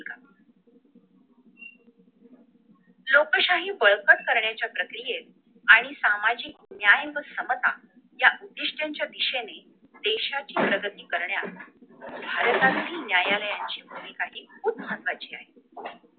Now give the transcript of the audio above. लोकशाही बळकट करण्याच्या प्रक्रियेत आणि सामाजिक न्याय व समता या उद्धीष्ट्यंच्या दिशेने देशाची प्रगती करण्यास न्यायालयाची भूमिकाही खुप महत्वाची आहे